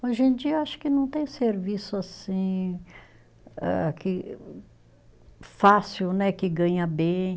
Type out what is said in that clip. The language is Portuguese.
Hoje em dia acho que não tem serviço assim âh que, fácil né, que ganha bem.